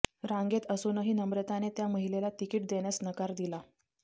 रांगेत असूनही नम्रताने त्या महिलेला तिकीट देण्यास नकार दिला